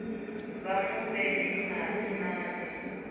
vha mu fhe madi manzhi